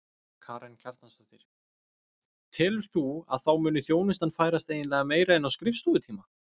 Karen Kjartansdóttir: Telur þú að þá muni þjónustan færast eiginlega meira inn á skrifstofutíma?